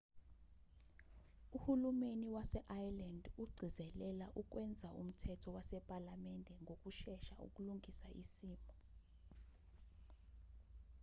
uhulumeni wase-ireland ugcizelela ukwenza umthetho wasephalamende ngokushesha ukulungisa isimo